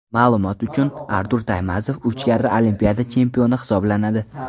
Ma’lumot uchun, Artur Taymazov uch karra Olimpiada chempioni hisoblanadi.